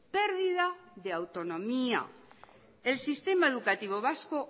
pérdida de autonomía el sistema educativo vasco